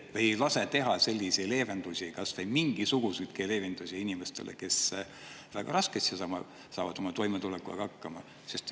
Miks te ei lase teha kas või mingisuguseidki leevendusi inimestele, kes väga raskelt saavad oma toimetulekuga hakkama?